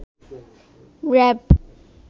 RAB